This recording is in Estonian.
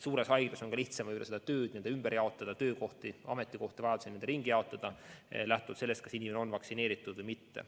Suures haiglas on ka lihtsam tööd vajaduse korral ümber jaotada lähtuvalt sellest, kas inimene on vaktsineeritud või mitte.